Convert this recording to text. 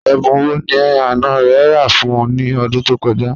Ẹ̀bùn wọ́ ni àná rẹ̀ rà fún ọ̀ ni ọ̀dún tó kọ̀ja?